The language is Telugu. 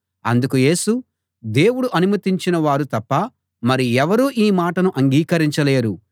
అందుకు యేసు దేవుడు అనుమతించిన వారు తప్ప మరి ఎవరూ ఈ మాటను అంగీకరించ లేరు